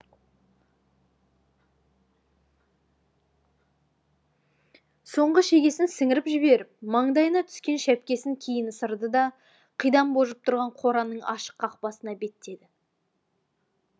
соңғы шегесін сіңіріп жіберіп маңдайына түскен шәпкесін кейін ысырды да қидан божып тұрған қораның ашық қақпасына беттеді